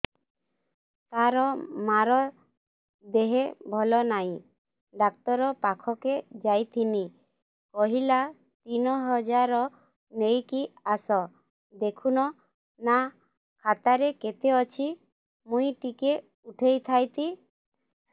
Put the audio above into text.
ତାର ମାର ଦେହେ ଭଲ ନାଇଁ ଡାକ୍ତର ପଖକେ ଯାଈଥିନି କହିଲା ତିନ ହଜାର ନେଇକି ଆସ ଦେଖୁନ ନା ଖାତାରେ କେତେ ଅଛି ମୁଇଁ ଟିକେ ଉଠେଇ ଥାଇତି